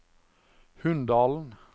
Hunndalen